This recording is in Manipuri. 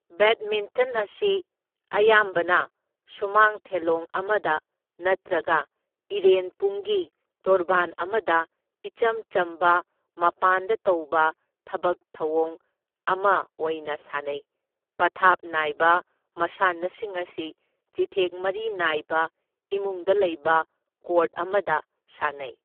ꯕꯦꯗꯃꯤꯟꯇꯟ ꯑꯁꯤ ꯑꯌꯥꯝꯕꯅ ꯁꯨꯃꯥꯡ ꯊꯦꯂꯣꯡ ꯑꯃꯗ ꯅꯠꯇ꯭ꯔꯒ ꯏꯔꯦꯟꯄꯨꯡꯒꯤ ꯇꯣꯔꯕꯥꯟ ꯑꯃꯗ ꯏꯆꯝ ꯆꯝꯕ, ꯃꯄꯥꯟꯗ ꯇꯧꯕ ꯊꯕꯛ ꯊꯧꯑꯣꯡ ꯑꯃ ꯑꯣꯏꯅ ꯁꯥꯟꯅꯩ, ꯄꯊꯥꯞ ꯅꯥꯏꯕ ꯃꯁꯥꯟꯅꯁꯤꯡ ꯑꯁꯤ ꯆꯤꯊꯦꯛ ꯃꯔꯤ ꯅꯥꯏꯕ, ꯏꯃꯨꯡꯗ ꯂꯩꯕ ꯀꯣꯔꯠ ꯑꯃꯗ ꯁꯥꯟꯅꯩ꯫